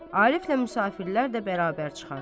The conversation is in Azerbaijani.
Ariflə müsafirlər də bərabər çıxar.